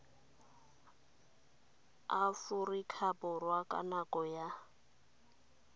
aforika borwa ka nako ya